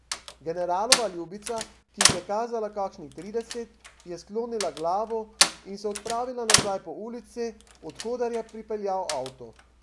Generalova ljubica, ki jih je kazala kakšnih trideset, je sklonila glavo in se odpravila nazaj po ulici, odkoder je pripeljal avto.